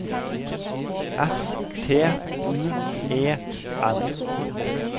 S T U E N